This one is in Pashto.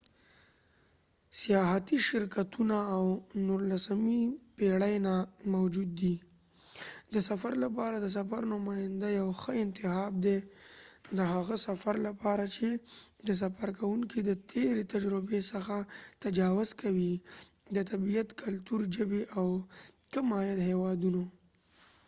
سیاحتی شرکتونه د نورلسمې پیړۍ نه موجود دي د سفر لپاره د سفر نماینده یو ښه انتخاب دي د هغه سفر لپاره چې د سفر کوونکې د تیری تجربی څخه تجاوز کوي د طبیعت کلتور ژبی او د کم عاید هیواودونو